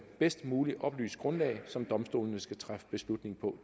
bedst muligt oplyst grundlag som domstolene skal træffe beslutning på